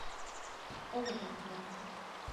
эвертон челси